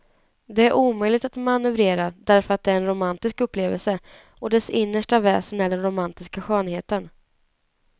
Det är omöjligt att manövrera därför att det är en romantisk upplevelse, och dess innersta väsen är den romantiska skönheten.